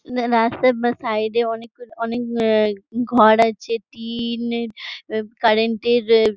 ন-না রাস্তার বাঁ সাইড -এ অনেকগুলো অনেক ঘর আছে | টিন কারেন্ট -এর-এ --